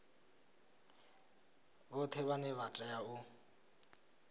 vhoṱhe vhane vha tea u